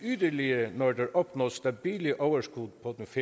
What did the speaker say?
yderligere når der opnås stabile overskud